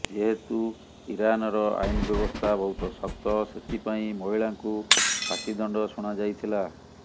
ଯେହେତୁ ଇରାନର ଆଇନ ବ୍ୟବସ୍ଥା ବହୁତ ଶକ୍ତ ସେଥିପାଇଁ ମହିଳାଙ୍କୁ ଫାଶୀ ଦଣ୍ଡ ଶୁଣାଯାଇଥିଲା